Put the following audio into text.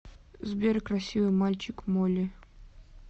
сбер красивый мальчик молли